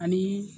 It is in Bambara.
Ani